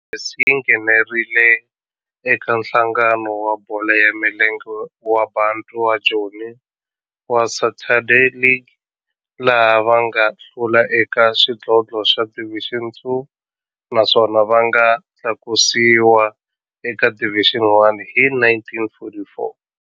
Boys yi nghenelerile eka Nhlangano wa Bolo ya Milenge wa Bantu wa Joni wa Saturday League, laha va nga hlula eka xidlodlo xa Division Two naswona va nga tlakusiwa eka Division One hi 1944.